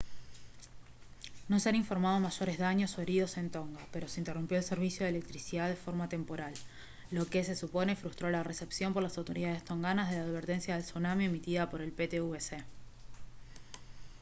no se han informado mayores daños o heridos en tonga pero se interrumpió el servicio de electricidad de forma temporal lo que se supone frustró la recepción por las autoridades tonganas de la advertencia de tsunami emitida por el ptwc